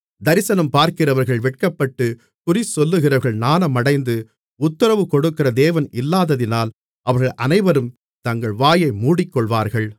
தரிசனம்பார்க்கிறவர்கள் வெட்கப்பட்டு குறிசொல்லுகிறவர்கள் நாணமடைந்து உத்திரவுகொடுக்கிற தேவன் இல்லாததினால் அவர்கள் அனைவரும் தங்கள் வாயை மூடிக்கொள்வார்கள்